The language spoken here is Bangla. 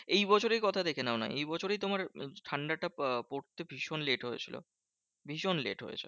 এই বছরই কথা দেখে নাও না? এই বছরই তোমার ঠান্ডাটা আহ পড়তে ভীষণ late হয়েছিল। ভীষণ late হয়েছিল।